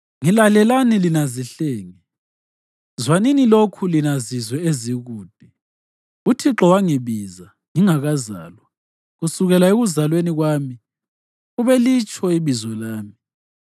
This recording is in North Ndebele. Ngilalelani lina zihlenge; zwanini lokhu lina zizwe ezikude: uThixo wangibiza ngingakazalwa; kusukela ekuzalweni kwami ubelitsho ibizo lami.